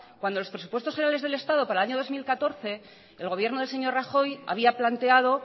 cuando los presupuestos generales del estado para el año dos mil catorce el gobierno del señor rajoy había planteado